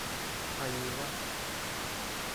анива